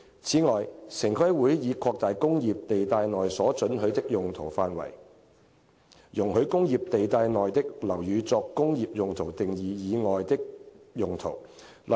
此外，城規會已擴大"工業"地帶內所准許的用途範圍，容許工業地帶內的樓宇作"工業用途"定義以外的用途。